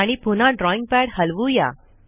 आणि पुन्हा drawing pad हलवू या